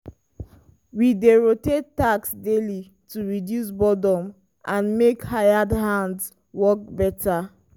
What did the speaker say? we dey rotate tasks daily to reduce boredom and make hired hands work better.